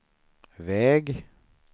väg